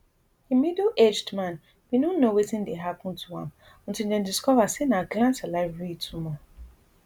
di middle aged man bin no know wetin dey happun to am until dem discover say na gland salivary tumour